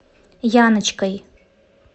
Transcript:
яночкой